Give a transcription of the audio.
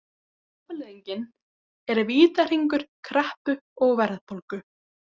Afleiðingin er vítahringur kreppu og verðbólgu.